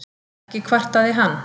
Ekki kvartaði hann.